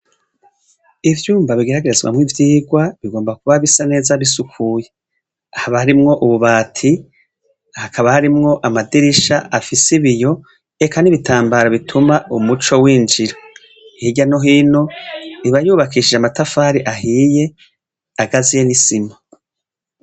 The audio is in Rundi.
Ivyumba bigeragerezwamwo ivyigwa bigomba kuba bisa neza, bisukuye. Haba harimwo ububati, hakaba harimwo amadirisha afise ibiyo eka n'ibitambara bituma umuco winjira. Hirya no hino iba yubakishije amatafari ahiye, akaziye n'isima.